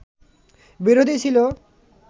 বিরোধী ছিল